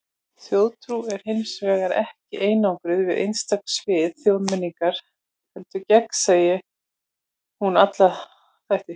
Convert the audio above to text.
Þjóðtrú er hins vegar ekki einangruð við einstök svið þjóðmenningar, heldur gegnsýrir hún alla þætti.